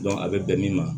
a bɛ bɛn min ma